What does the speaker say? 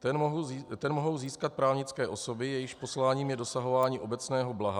Ten mohou získat právnické osoby, jejichž posláním je dosahování obecného blaha.